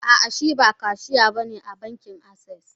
Ah ah Shiba Kashiya bane a bankin access.